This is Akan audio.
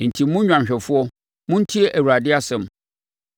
“ ‘Enti, mo nnwanhwɛfoɔ, montie Awurade asɛm: